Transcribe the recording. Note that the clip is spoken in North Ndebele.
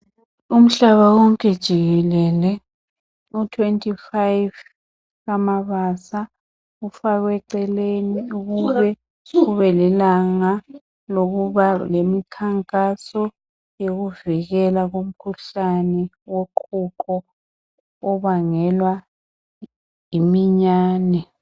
Umhlaba wonke jikelele u25 kaMabasa ufakwe eceleni ukube lilanga lokuba lemikhankaso yokuvikela umkhuhlane woqhuqho obangelwa yiminyane.